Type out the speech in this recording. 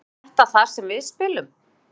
Er þetta þar sem við spilum?